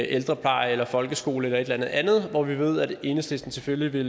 ældrepleje eller folkeskole eller et eller andet når vi ved at enhedslisten selvfølgelig vil